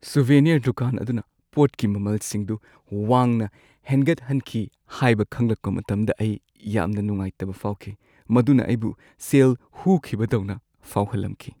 Souvenir ꯗꯨꯀꯥꯟ ꯑꯗꯨꯅ ꯄꯣꯠꯀꯤ ꯃꯃꯜꯁꯤꯡꯗꯨ ꯋꯥꯡꯅ ꯍꯦꯟꯒꯠꯍꯟꯈꯤ ꯍꯥꯏꯕ ꯈꯪꯂꯛꯄ ꯃꯇꯝꯗ ꯑꯩ ꯌꯥꯝꯅ ꯅꯨꯡꯉꯥꯏꯇꯕ ꯐꯥꯎꯈꯤ, ꯃꯗꯨꯅ ꯑꯩꯕꯨ ꯁꯦꯜ ꯍꯨꯈꯤꯕꯗꯧꯅ ꯐꯥꯎꯍꯜꯂꯝꯈꯤ꯫